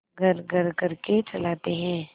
घर्रघर्र करके चलाते हैं